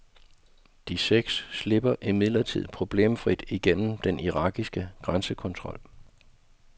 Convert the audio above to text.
De seks slipper imidlertid problemfrit igennem den irakiske grænsekontrol.